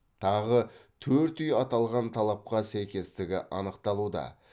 тағы төрт үй аталған талапқа сәйкестігі анықталуда